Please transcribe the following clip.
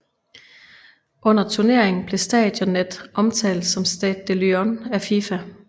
Under turneringen blev stadionet omtalt som Stade de Lyon af FIFA